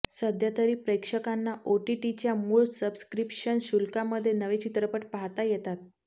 सध्या तरी प्रेक्षकांना ओटीटीच्या मूळ सबस्क्रिप्शन शुल्कामध्ये नवे चित्रपट पाहता येतात